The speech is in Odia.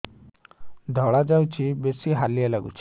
ଧଳା ଯାଉଛି ବେଶି ହାଲିଆ ଲାଗୁଚି